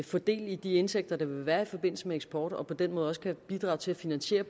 få del i de indtægter der vil være i forbindelse med eksport og på den måde også kan bidrage til at finansiere